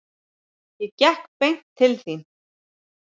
Ég gekk beint til þín.